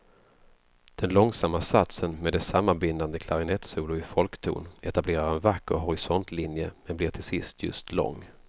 Den långsamma satsen med dess sammanbindande klarinettsolo i folkton etablerar en vacker horisontlinje men blir till sist just lång.